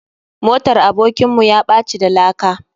Motar abokin mu yaɓaci da laka.